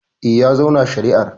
Eh, ya zauna shari'ar.